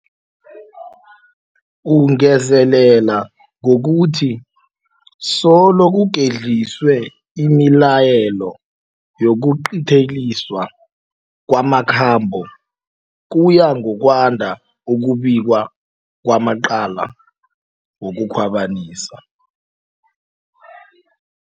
Ungezelela ngokuthi solo kugedliswe imilayelo yokuqinteliswa kwamakhambo, kuya ngokwanda ukubikwa kwamacala wokukhwabanisa